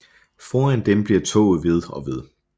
Foran dem bliver toget ved og ved